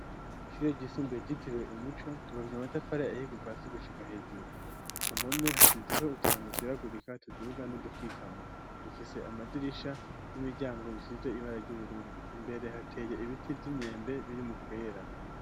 Ishure ryisumbuye ryitiriwe umuco ryubakishije amatafari ahiye kuva hasi gushika hejuru, ku mpome hasizeko uturongo tweragurika tuduga n'udukikama, rifise amadirisha n'imiryango bisize ibara ry'ubururu, imbere hateye ibiti vy'inyembe biri mu kwera.